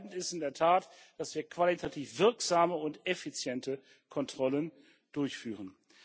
Entscheidend ist in der Tat, dass wir qualitativ wirksame und effiziente Kontrollen durchführen.